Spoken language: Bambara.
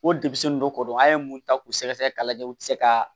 O de bi se nin dɔ ko dɔn an ye mun ta k'u sɛgɛsɛgɛ k'a lajɛ u te se ka